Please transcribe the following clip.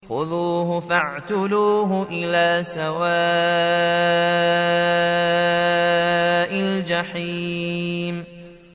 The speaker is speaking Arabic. خُذُوهُ فَاعْتِلُوهُ إِلَىٰ سَوَاءِ الْجَحِيمِ